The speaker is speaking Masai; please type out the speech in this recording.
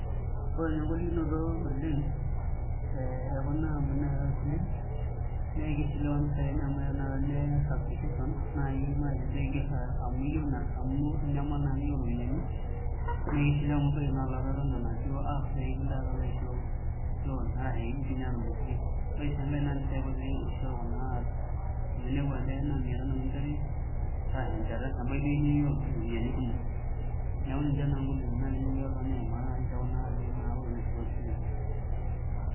Ore ninye engolikinoto oleng ekuna ampunini naishooyo isilen, naa ekeishiliwa impisai enye amu eya tanakata nias application naaji ina saa, amu inyamal naa neaku iyieu iropiyiani naa keishiliwa amu ebaiki naa olapa eton enaduo APP pee kilo alo aisho loan ashu keidim doi aatomitiki pii. Ore sii doi enkae naa impisai kutik eishoru kuna aapi, amu inepu ajo eya maa mia tano kinchori ashu eshata nebaiki naaji niyieu iropiyiani kumok. Niaku ninche ingolikinok naaji ningira aimaa tekuna aapi naa naishooyo isilen